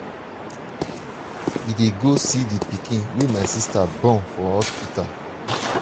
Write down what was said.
we dey go see the pikin wey my sister born for hospital.